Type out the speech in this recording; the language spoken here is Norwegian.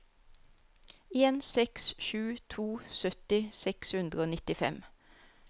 en seks sju to sytti seks hundre og nittifem